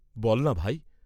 বল্‌না ভাই?